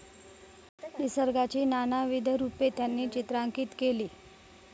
निसर्गाची नानाविध रूपे त्यांनी चित्रांकित केली.